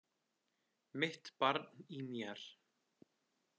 Mitt barn í mér.